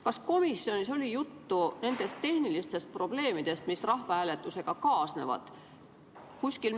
Kas komisjonis oli juttu tehnilistest probleemidest, mis rahvahääletusega kaasnevad?